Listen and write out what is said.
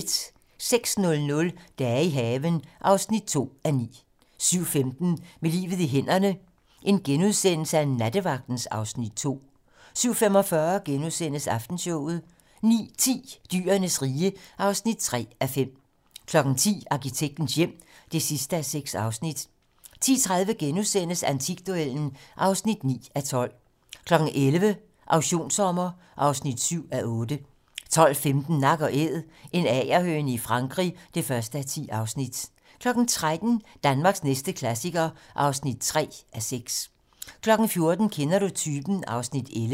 06:00: Dage i haven (2:9) 07:15: Med livet i hænderne: Nattevagten (Afs. 2)* 07:45: Aftenshowet * 09:10: Dyrenes rige (3:5) 10:00: Arkitektens hjem (6:6) 10:30: Antikduellen (9:12)* 11:00: Auktionssommer (7:8) 12:15: Nak & Æd - en agerhøne i Frankrig (1:10) 13:00: Danmarks næste klassiker (3:6) 14:00: Kender du typen? (Afs. 11)